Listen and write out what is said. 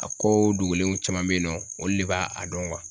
A ko dogolenw caman be yen nɔ olu de b'a a dɔn